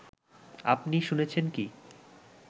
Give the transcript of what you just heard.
আপনি শুনেছেন কি